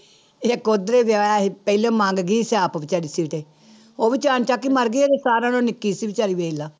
ਇੱਕ ਉੱਧਰੇ ਵਿਆਹਿਆ ਸੀ ਪਹਿਲੇ ਮਰ ਗਈ ਸੀ ਆਪ ਬੇਚਾਰੀ ਉਹ ਵੀ ਆਣਚੱਕ ਹੀ ਮਰ ਗਈ ਸਾਰਿਆਂ ਨਾਲੋਂ ਨਿੱਕੀ ਸੀ ਬੇਚਾਰੀ ਦੇਖ ਲਾ।